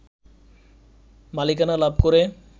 মালিকানা লাভ করে